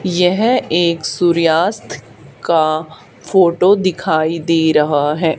यह एक सूर्यास्त का फोटो दिखाई दे रहा है।